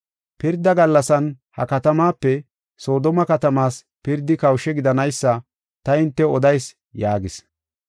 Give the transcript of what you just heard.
Pirda gallasan, ha katamaape Soodome katamaas pirdi kawushe gidanaysa ta hintew odayis” yaagis.